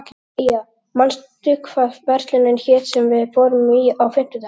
Eyja, manstu hvað verslunin hét sem við fórum í á fimmtudaginn?